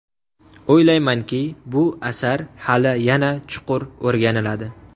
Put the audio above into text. O‘ylaymanki, bu asar hali yana chuqur o‘rganiladi.